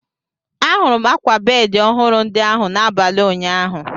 Ahụrụ m ákwà bedi ọhụrụ ndi ahụ n'abalị ụnyaahụ.